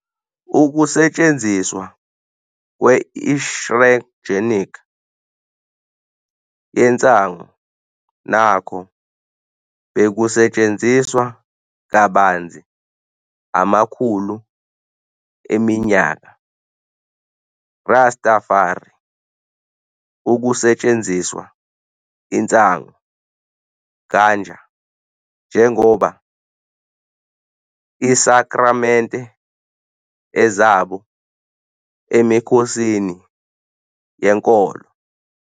Ukusetshenziswa kwe-insheogenic yensangu nakho bekusetshenziswa kabanzi amakhulu eminyaka. Rastafari ukusetshenziswa insangu, Ganja, njengoba isakramente ezabo emikhosini yenkolo.